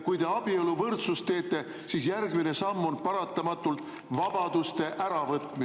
Kui te abieluvõrdsust, siis järgmine samm on paratamatult vabaduste äravõtmine.